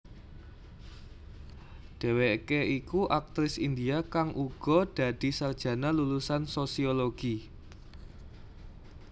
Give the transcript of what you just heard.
Dheweké iku aktris India kang uga dadi sarjana lulusan sosiologi